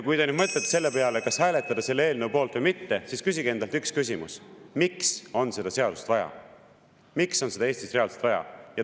Kui te nüüd mõtlete selle peale, kas hääletada selle eelnõu poolt või mitte, siis küsige endalt üks küsimus: miks on seda seadust vaja, miks on seda Eestis reaalselt vaja?